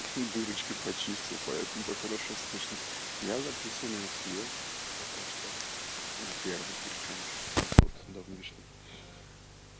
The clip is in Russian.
дырочки почистил поэтому так хорошо слышно я записываю на эс е пока что на первой причём ш но тот давнишний